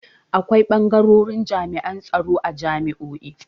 Akwai bangarorin jami'an tsaro a jami'o'i.